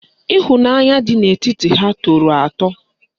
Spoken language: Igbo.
Ịhụnanya dị n'etiti ha tọrọ atọ